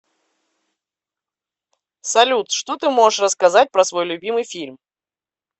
салют что ты можешь рассказать про свой любимый фильм